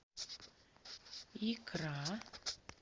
икра